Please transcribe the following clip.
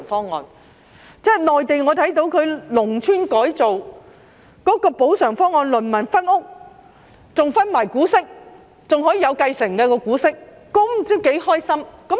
我看到內地農村改造的補償方案，農民可以分屋，更會分得股息，股息還可以繼承，他們不知多高興。